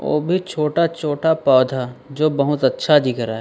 वो भी छोटा छोटा पौधा जो बहुत अच्छा दिख रहा है।